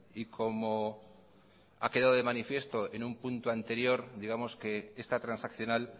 y como ha quedado de manifiesto en un punto anterior digamos que esta transaccional